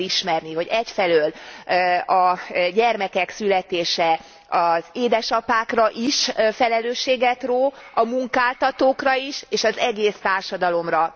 Fel kell ismerni, hogy egyfelől a gyermekek születése az édesapákra is felelősséget ró, a munkáltatókra is, és az egész társadalomra.